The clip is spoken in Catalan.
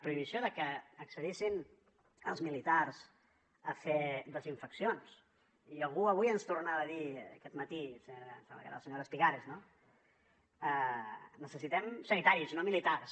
prohibició que accedissin els militars a fer desinfeccions i algú avui ens tornava a dir aquest matí em sembla que era la senyora espigares no necessitem sanitaris no militars